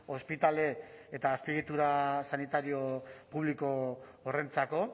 ospitale eta azpiegitura sanitario publiko horrentzako